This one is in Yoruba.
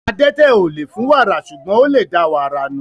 Adẹ́tẹ̀ ò lè fún wàrà, ṣùgbọ́n ó lè da wàrà nù.